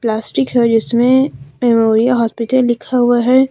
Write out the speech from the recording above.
Plastic है जिसमें memory hospital लिखा हुआ है।